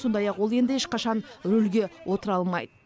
сондай ақ ол енді ешқашан рөлге отыра алмайды